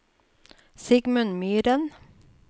Sigmund Myhren